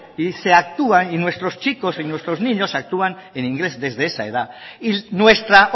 y se actúa y nuestros chichos y nuestros niños actúan en inglés desde esa edad y nuestra